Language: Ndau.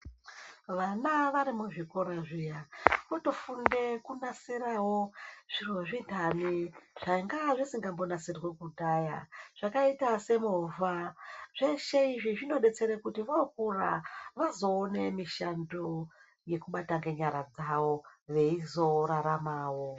Vana vari muzvikoro zviya kutofunde kunasirewo zviro zvintani zvanga zvisingambonasirwi kudhaya zvakaita semovha zveshe izvi zvinodetsere kuti vokura vazoona mishando yekubata ngenyara dzawo veizoraramawo.